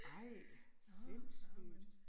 Ej sindssygt